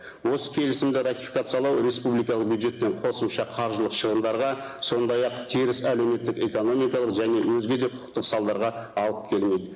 осы келісімді ратификациялау республикалық бюджеттен қосымша қаржылық шығындарға сондай ақ теріс әлеуметтік экономикалық және өзге де құқықтық салдарға алып келмейді